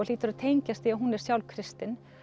hlýtur að tengjast því að hún er sjálf kristin